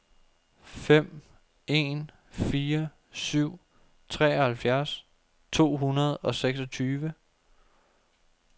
fem en fire syv treoghalvfjerds to hundrede og seksogtyve